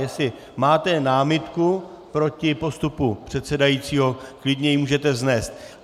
Jestli máte námitku proti postupu předsedajícího, klidně ji můžete vznést.